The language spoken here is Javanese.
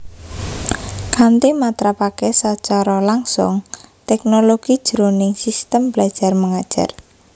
Kanthi matrapaké sacara langsung teknologi jroning sistem belajar mengajar